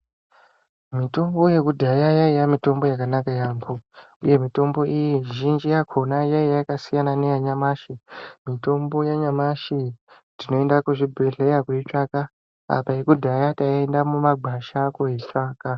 Mitombo yekudhaya yaiya mitombo yakanaka yaampho uye mitombo iyi mizhinju yakhona yaiya yakasiyana neyanyamashi. Mitombo yanyamashi tinoenda kuzvibhedhleya koitsvaka apa yekudhaya taienda mumagwasha koitsvaka.